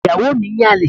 Ìyàwó mi ń yan àlè.